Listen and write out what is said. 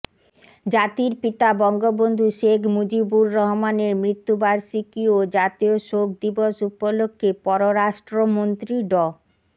জাতির পিতা বঙ্গবন্ধু শেখ মুজিবুর রহমানের মৃত্যুবার্ষিকী ও জাতীয় শোক দিবস উপলক্ষে পররাষ্ট্রমন্ত্রী ড